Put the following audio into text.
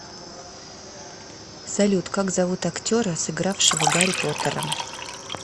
салют как зовут актера сыгравшего гарри потера